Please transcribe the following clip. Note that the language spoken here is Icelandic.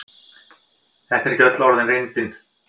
Þetta er ekki orðin reyndin.